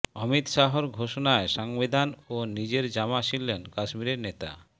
অমিত শাহর ঘোষণায় সংবিধান ও নিজের জামা ছিঁড়লেন কাশ্মীরের নেতা